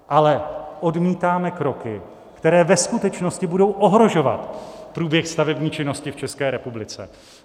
Ale odmítáme kroky, které ve skutečnosti budou ohrožovat průběh stavební činnosti v České republice.